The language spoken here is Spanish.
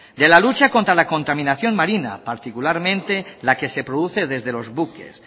de la lucha contra la contaminación marina particularmente la que se produce desde los buques